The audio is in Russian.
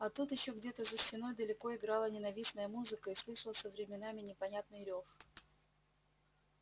а тут ещё где-то за стеной далеко играла ненавистная музыка и слышался временами непонятный рёв